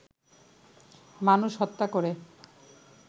মানুষ হত্যা করে